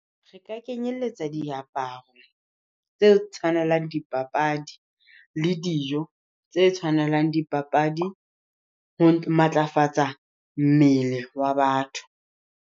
Re ka kenyelletsa diaparo tse tshwanelang dipapadi, le dijo tse tshwanelang dipapadi ho matlafatsa mmele wa batho.